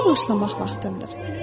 İşə başlamaq vaxtındır.